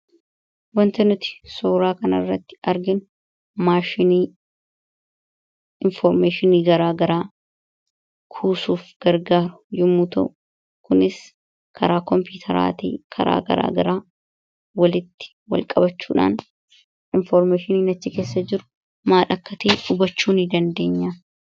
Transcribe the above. Waanti nuti suuraa kanarratti arginu maashinii infoormeeshinii gara garaa kuusuuf gargaaru yommuu ta'u, kunis karaa Kompiitaraatiin, karaa garaa garaa walitti wal qabachuudhaan infoormeeshiniin achi keessa jiru maal akka ta'e hubachuu ni dandeenya.